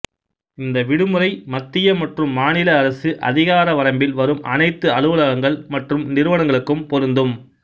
இந்த விடுமுறை மத்திய மற்றும் மாநில அரசு அதிகார வரம்பில் வரும் அனைத்து அலுவலகங்கள் மற்றும் நிறுவனங்களுக்கும் பொருந்தும்